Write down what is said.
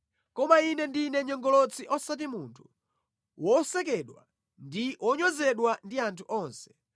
Koma ine ndine nyongolotsi osati munthu, wosekedwa ndi wonyozedwa ndi anthu onse.